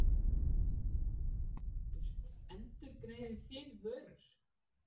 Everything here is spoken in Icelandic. Þórhildur: Endurgreiðið þið vörur?